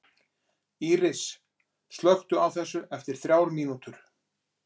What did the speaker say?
Íris, slökktu á þessu eftir þrjár mínútur.